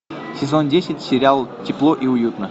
сезон десять сериал тепло и уютно